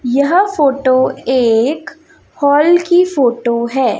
यह फोटो एक हाल की फोटो है।